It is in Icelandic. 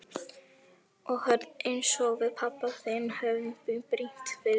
Og hörð einsog við pabbi þinn höfum brýnt fyrir þér.